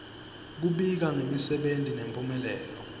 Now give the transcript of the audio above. kubika ngemsebenti nemphumelelo